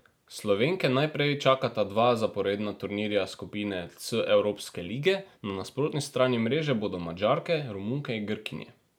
Slovenke najprej čakata dva zaporedna turnirja skupine C evropske lige, na nasprotni strani mreže bodo Madžarke, Romunke in Grkinje.